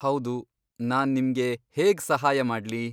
ಹೌದು. ನಾನ್ ನಿಮ್ಗೆ ಹೇಗ್ ಸಹಾಯ ಮಾಡ್ಲಿ?